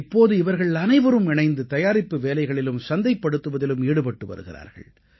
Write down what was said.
இப்போது இவர்கள் அனைவரும் இணைந்து தயாரிப்பு வேலைகளிலும் சந்தைப்படுத்துவதிலும் ஈடுபட்டு வருகிறார்கள்